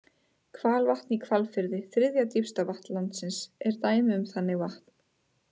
Hvalvatn í Hvalfirði, þriðja dýpsta vatn landsins, er dæmi um þannig vatn.